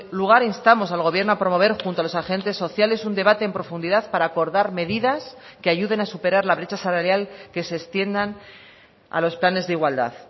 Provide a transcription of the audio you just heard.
lugar instamos al gobierno a promover junto a los agentes sociales un debate en profundidad para acordar medidas que ayuden a superar la brecha salarial que se extiendan a los planes de igualdad